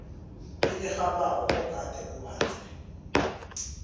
elirhabako ogade ubanjwe